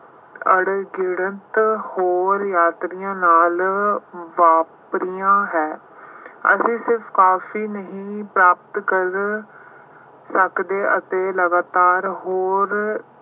ਅਣਗਿਣਤ ਹੋਰ ਯਾਤਰੀਆਂ ਨਾਲ ਵਾਪਰੀਆਂ ਹੈ। ਅਸੀਂ ਸਿਰਫ ਕਾਫੀ ਨਹੀਂ ਪ੍ਰਾਪਤ ਕਰ ਸਕਦੇ ਅਤੇ ਲਗਾਤਾਰ ਹੋਰ